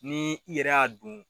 Ni i yɛrɛ y'a dun